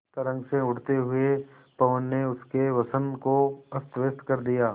तरंग से उठते हुए पवन ने उनके वसन को अस्तव्यस्त कर दिया